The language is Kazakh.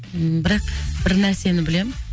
бірақ бір нәрсені білем